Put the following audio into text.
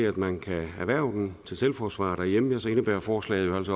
at man kan erhverve den til selvforsvar derhjemme indebærer forslaget